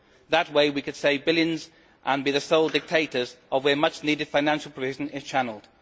That way, we could save billions and be the sole dictators of where much needed financial provision is channelled.